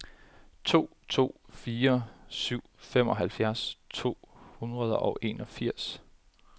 to to fire syv femoghalvfjerds to hundrede og enogfirs